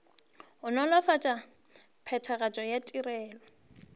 go nolofatša phethagatšo ya ditirelo